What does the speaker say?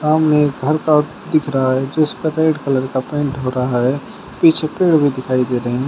सामने एक घर का दिख रहा है जिस पर रेड कलर का पेंट हो रहा है पीछे पेड़ भी दिखाई दे रहे हैं।